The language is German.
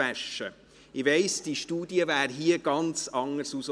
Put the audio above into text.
Ich weiss, diese Studie wäre hier ganz anders herausgekommen.